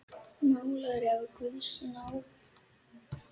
Málari af guðs náð.